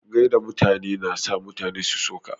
Gaida mutane na sa mutane su so ka.